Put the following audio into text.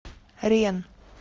ренн